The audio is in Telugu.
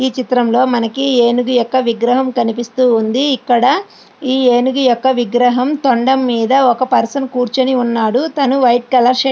ఈ చిత్రంలోని మనకి ఏనుగు యొక్క విగ్రహం కనిపిస్తూ ఉంది.ఇక్కడ ఈ ఏనుగు యొక్క విగ్రహం తొండం మీద ఒక మనిషి కూర్చుని ఉన్నాడు. తను వైట్ కలర్ షర్ట్ --